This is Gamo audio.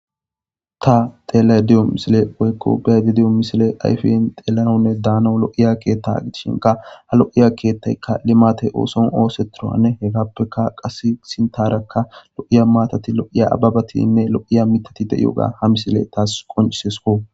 ta xeelay diyo misile woykko bayadi diyo misile ayfin xeelanonne daano lo7iya keetta gitishinka ha lo7iya keettaykka limate ooson ooseturoanne hegappeka qas sintarakka lo7iya maatati lo7iya ababatinne lo7iya mitati deyoga ha misile taas qoncisesuko